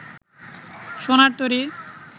সোনার তরী